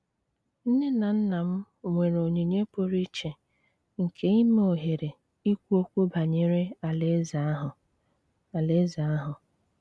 Nne na nna m nwere onyinye pụrụ iche nke ime ohere ikwu okwu banyere Alaeze ahụ. Alaeze ahụ.